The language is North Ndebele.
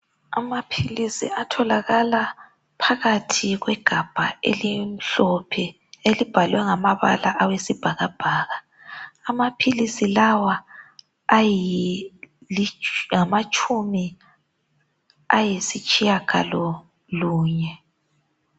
Amaphilisi atholakala phakathi kwegabha elimhlophe elibhalwe ngamabala awesibhakabhaka. Amaphilisi lawa angamatshumi ayisitshiyagalolunye.